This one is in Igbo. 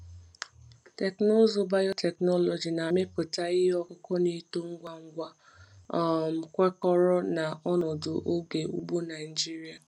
Teknụzụ biotechnology na-amịpụta ihe ọkụkụ na-eto ngwa ngwa, um kwekọrọ na ọnọdụ oge ugbo Naijiria.